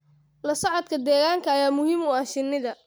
La socodka deegaanka ayaa muhiim u ah shinnida.